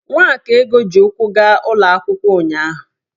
Nwakaego ji ụkwụ gaa ụlọ akwụkwọ ụnyahụ.